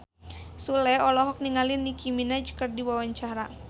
Sule olohok ningali Nicky Minaj keur diwawancara